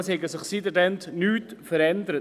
Seit dann habe sich nichts verändert.